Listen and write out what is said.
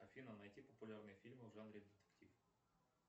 афина найти популярные фильмы в жанре детектив